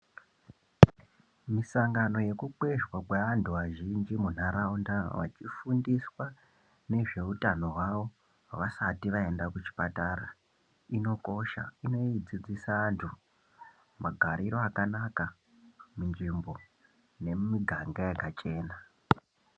Misangano yekukwezvwa kwevantu vazhinji muntaraunda vechifundiswa nezveutano hwavo, vasati vaenda kuchipatara inokosha, inodzidzisa antu magariro akanaka munzvimbo nemumiganga yakachena.